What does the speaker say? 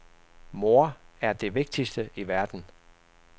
Mor er det vigtigste i verden.